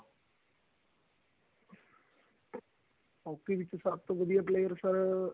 hockey ਵਿੱਚ ਸਭ ਤੋਂ ਵਧੀਆ player sir